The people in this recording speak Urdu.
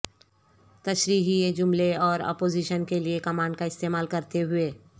تشریحی جملے اور اپوزیشن کے لئے کمانڈ کا استعمال کرتے ہوئے